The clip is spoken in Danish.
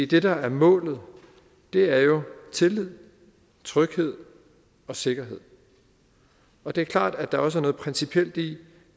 det der er målet er jo tillid tryghed og sikkerhed og det er klart at der også er noget principielt i